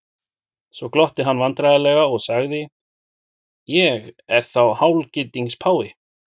Svo glotti hann vandræðalega og sagði:-Ég er þá hálfgildings páfi?